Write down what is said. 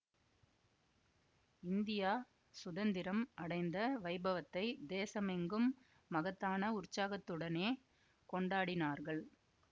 India சுதந்திரம் அடைந்த வைபவத்தைத் தேசமெங்கும் மகத்தான உற்சாகத்துடனே கொண்டாடினார்கள்